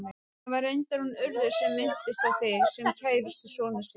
Það var reyndar hún Urður sem minntist á þig, sem kærustu sonar síns.